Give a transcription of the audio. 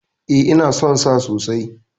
E, ina son sa sosai.